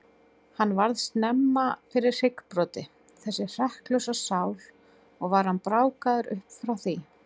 Hann varð snemma fyrir hryggbroti, þessi hrekklausa sál, og var hann brákaður upp frá því.